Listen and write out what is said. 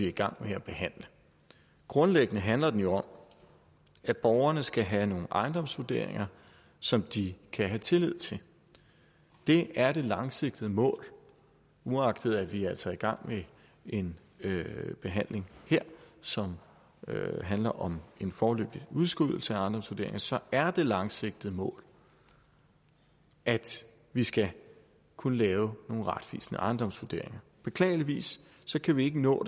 i gang med at behandle grundlæggende handler den jo om at borgerne skal have nogle ejendomsvurderinger som de kan have tillid til det er det langsigtede mål uagtet at vi altså i gang med en behandling som handler om en foreløbig udskydelse af ejendomsvurderinger så er det langsigtede mål at vi skal kunne lave nogle retvisende ejendomsvurderinger beklageligvis kan vi ikke nå